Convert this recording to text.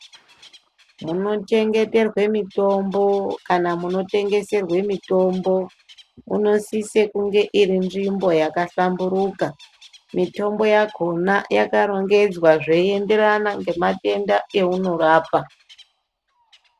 Munoxhengeterwa mitombo kana munotengeserwa mitombo munosisa kunge iri nzvimbo yakahlamburuka mitombo yakona yakarongedzwa zveienderana nematenda aunorapa.